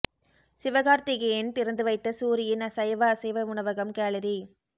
சிவகார்த்திகேயன் திறந்து வைத்த சூரி யின் சைவ அசைவ உணவகம் கேலரி